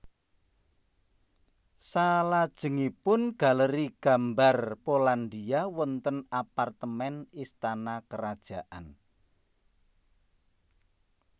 Selajengipun Galeri Gambar Polandia wonten apartemen istana karajaan